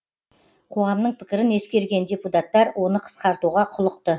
қоғамның пікірін ескерген депутаттар оны қысқартуға құлықты